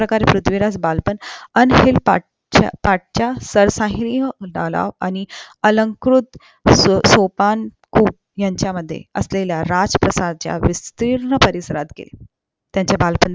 अश्या प्रकारे पृथ्वीराज बालपण पाट च्या आणि अलंकृत सोपानकुल यांच्या मध्ये असलेल्या राज प्रसच्या विस्तीर्ण परिसरात केले त्यांचे बालपण